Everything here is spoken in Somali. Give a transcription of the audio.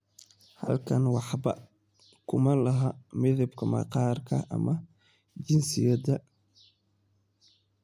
"Halkan waxba kuma laha midabka maqaarka ama jinsiyadda.""